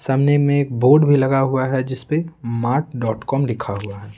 सामने में एक बोर्ड भी लगा हुआ है जिस पे मार्ट डॉट कॉम लिखा हुआ है।